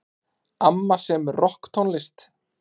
Amma semur rokktónlist.